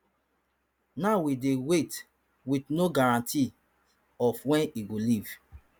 now we dey wait with no guarantees of wen e go leave